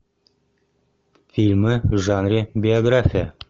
фильмы в жанре биография